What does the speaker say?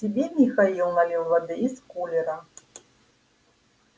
себе михаил налил воды из кулера